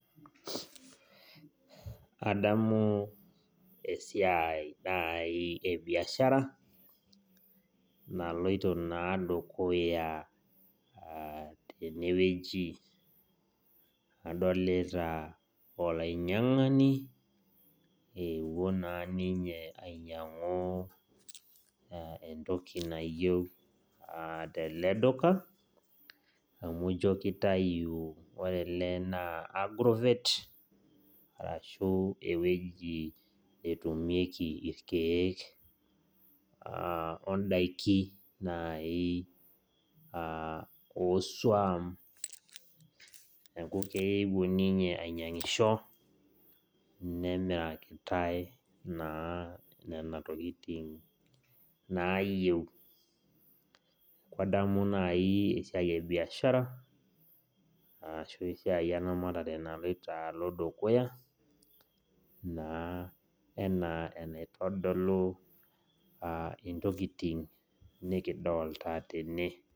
Adamu esiai naaji e biashara naaloito naaji dukuya tenewueji adolita olainyiang'ani eeuo naa ninye ainyiang'u entoki nayieu teleduka amu adolita enaa agrover ashua ewueji namirieki irkiek ondaki naaji ooswam neku keeuo ninye ainyingisho nemirakitai nena tokitin naayieu adamu naaji esiai ebiashara ashuu eramatare naloito dukuya naaji enaa enaitodolu intokitin nikidolita tene